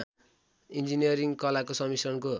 engineering कलाको सम्मिश्रणको